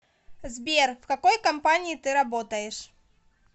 сбер в какой компании ты работаешь